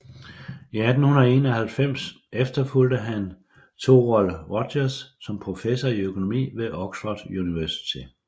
I 1891 efterfulgte han Thorold Rogers som professor i økonomi ved Oxford Universitet